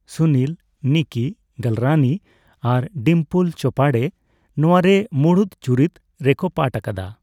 ᱥᱩᱱᱤᱞ, ᱱᱤᱠᱤ ᱜᱟᱞᱨᱟᱱᱤ ᱟᱨ ᱰᱤᱢᱯᱚᱞ ᱪᱳᱯᱟᱰᱮ ᱱᱚᱣᱟᱨᱮ ᱢᱩᱲᱩᱫ ᱪᱩᱨᱤᱛ ᱨᱮᱠᱚ ᱯᱟᱴᱷ ᱟᱠᱟᱫᱟ ᱾